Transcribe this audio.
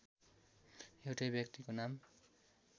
एउटै व्यक्तिको नाम